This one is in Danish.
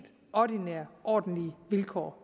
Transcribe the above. ordinære og ordentlige vilkår